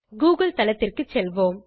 Google தளத்திற்கு செல்வோம்